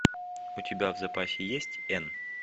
у тебя в запасе есть н